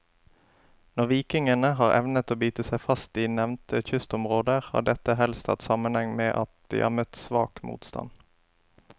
Når vikingene har evnet å bite seg fast i nevnte kystområder, har dette helst hatt sammenheng med at de har møtt svak motstand.